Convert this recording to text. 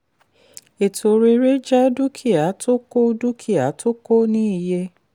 ètò rere jẹ́ dúkìá tó kò dúkìá tó kò ní iye.